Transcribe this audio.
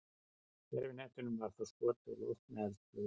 gervihnettinum var þá skotið á loft með eldflaug